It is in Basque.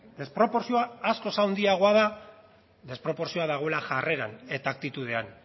desproportzioa askoz handiagoa da desproportzioa dagoela jarreran eta aktitudean